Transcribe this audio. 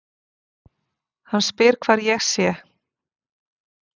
Hann spyr hvar ég sé.